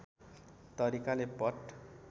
तरिकाले पट